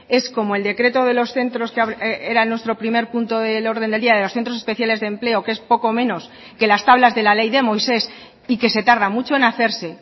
es como el decreto de los centros era nuestro primer punto del orden del día de los centros especiales de empleo que es poco menos que las tablas de la ley de moisés y que se tarda mucho en hacerse